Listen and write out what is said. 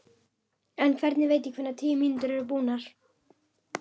En hvernig veit ég hvenær tíu mínútur eru búnar?